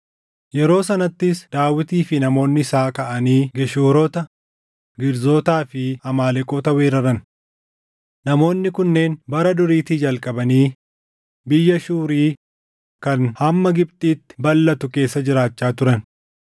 Yeroo sanattis Daawitii fi namoonni isaa kaʼanii Geshuurota, Girzootaa fi Amaaleqoota weeraran. Namoonni kunneen bara duriitii jalqabanii biyya Shuuri kan hamma Gibxitti balʼatu keessa jiraachaa turan.